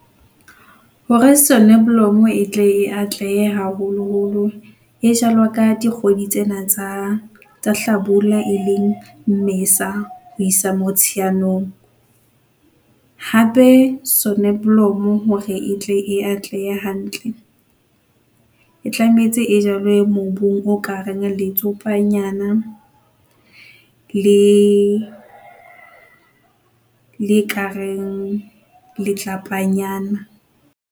Hore soneblomo e tle e atlehe haholoholo e jalwa ka dikgwedi tsena tsa hlabula, e leng Mmesa ho isa Motsheanong, hape soneblomo hore etle e atlehe hantle e tlametse e jalwe mobung o ka reng letsopanyana le, le ekareng letlapanyana.